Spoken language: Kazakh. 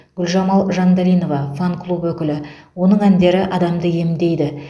гүлжамал жандалинова фан клуб өкілі оның әндері адамды емдейді